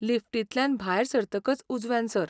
लिफ्टींतल्यान भायर सरतकच उजव्यान सर.